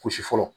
Gosi fɔlɔ